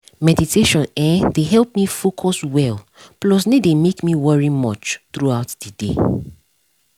meditation[um]dey help me focus well plus no dey make me worry much throughout the day